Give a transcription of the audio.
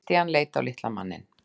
Christian leit á litla manninn.